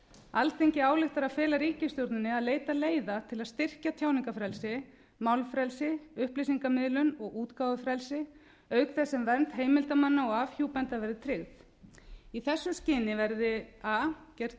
alþingi ályktar að fela ríkisstjórninni að leita leiða til að styrkja tjáningarfrelsi málfrelsi upplýsingamiðlun og útgáfufrelsi auk þess sem vernd heimildarmanna og afhjúpenda verði tryggð í þessu skyni verði a gerð